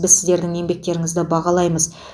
біз сіздердің еңбектеріңізді бағалаймыз